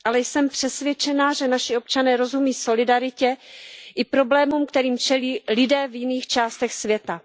Ale jsem přesvědčená, že naši občané rozumí solidaritě i problémům, kterým čelí lidé v jiných částech světa.